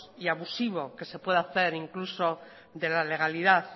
y abusivo que se pueda hacer incluso de la legalidad